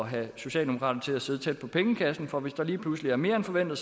have socialdemokraterne til at sidde tæt på pengekassen for hvis der lige pludselig er mere end forventet